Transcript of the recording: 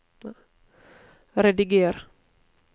rediger